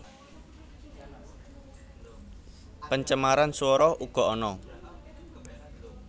Pencemaran suoro ugo ana